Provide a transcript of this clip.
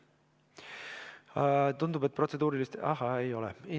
Tundub, et protseduurilised.